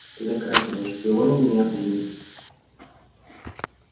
за красного шпиона меня приняли